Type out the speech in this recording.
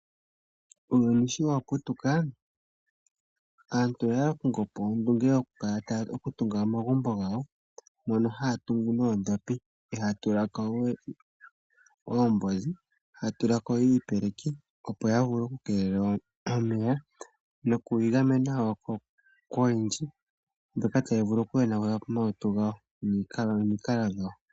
Uuyuni shi wa putuka aantu oya kongo po ondunge yokutunga omagumbo gawo, mono haya tungu noondhopi, ihaaya tula ko we oohozi, haya tula ko iipeleki, opo ya vule okukeelela omeya noku igamena wo koyindji mbyoka tayi vulu okuyonagula po omalutu gawo nomalukalwa gawo.